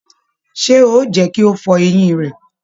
Ṣe o jẹ kí o fọ eyin rẹ!